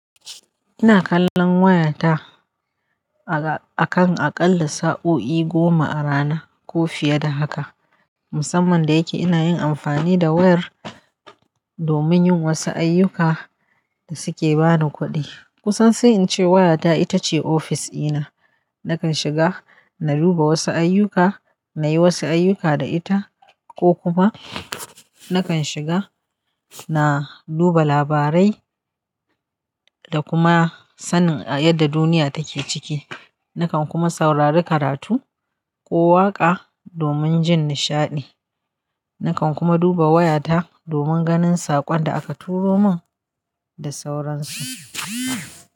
Ina kallon wayata a kan aƙalla sa'o'i goma a rana ko fiye da haka. Musamman da yake ina yin amfani da wayar domin yin wasu ayyuka da suke bani kuɗi. Kusan sai in ce wayata ita ce ofis ina. Nakan shiga na duba wasu ayyuka, na yi wasu ayyuka da ita ko kuma nakan shiga na duba labarai da kuma sanin yadda duniya take ciki. Nakan kuma saurari karatu ko waƙa domin jin nishaɗi. Nakan kuma duba wayata domin ganin saƙon da aka turo min da sauransu.